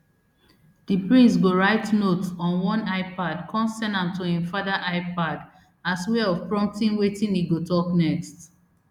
di prince go write notes on one ipad come send am to im father ipad as way of prompting wetin e go tok next